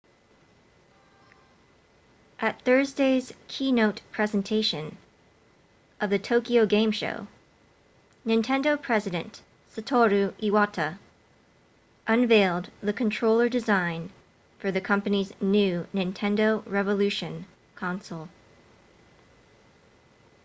at thursday's keynote presentation of the tokyo game show nintendo president satoru iwata unveiled the controller design for the company's new nintendo revolution console